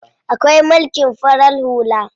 Akwai mulkin farar hula.